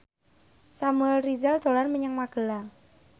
Samuel Rizal dolan menyang Magelang